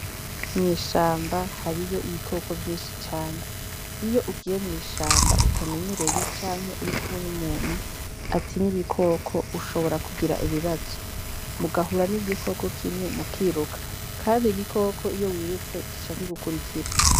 Mw'ishamba hariyo ibikoko vyinshi cane. Iyo ugiye mw'ishamba utamenyereye canke urikumwe n'umuntu atinya ibikoko, ushobora kugira ibibazo, mugahura n'igikoko kimwe mukiruka. Kandi igikoko iyo wirutse gica kigukurikira.